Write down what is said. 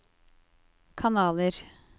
kanaler